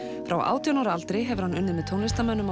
frá átján ára aldrei hefur hann unnið með tónlistarmönnum á